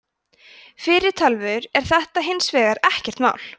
fyrir tölvur er þetta hins vegar ekkert mál